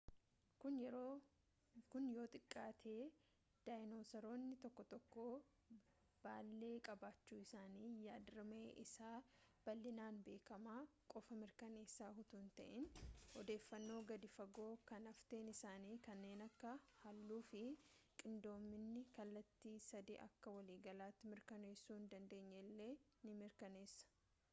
kun yoo xiqqaate daayinoosaroonni tokko tokko baal'ee qabaachuu isaanii yaad-rimee isa bal'inaan beekamaa qofa mirkaneessa utuu hinta'in odeeffannoo gadi fagoo kan hafteen isaanii kanneen akka halluu fi qindoominni kallattii-sadee akka waliigalaatti mirkaneessuu hindandeenye illee ni mirkaneessa